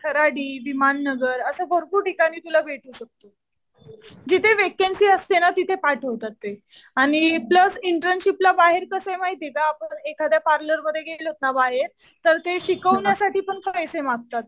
खराडी, विमान नगर असं भरपूर ठिकाणी तुला भेटू शकतं. जिथे वॅकन्सी असते ना तिथे पाठवतात ते. आणि प्लस इंटर्नशिपला बाहेर कसं आहे माहितीये का आपण एखाद्या पार्लरमध्ये गेलोत ना बाहेर तर ते शिकवण्यासाठी पण पैसे मागतात.